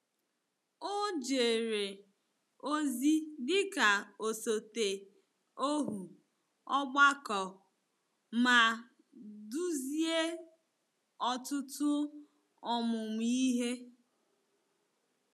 O jere ozi dị ka osote ohu ọgbakọ ma duzie ọtụtụ ọmụmụ ihe.